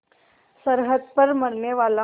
सरहद पर मरनेवाला